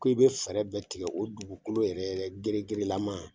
Ko i be fɛɛrɛ bɛɛ tigɛ o dugukolo yɛrɛ yɛrɛ ŋeleŋele laman